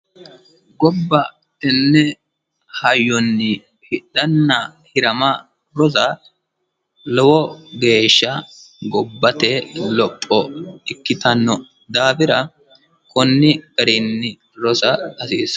Gobba tenne hayyonni hidhana hirama rosa lowo geeshsha gobbate lopho ikkitanno daafira konni garinni rosa hasiissano.